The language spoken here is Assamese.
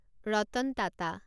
ৰতন টাটা